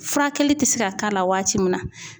Furakɛli ti se ka k'a la waati min na